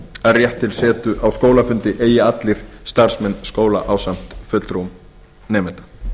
að rétt til setu á skólafundi eigi allir starfsmenn skóla ásamt fulltrúum nemenda